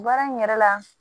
Baara in yɛrɛ la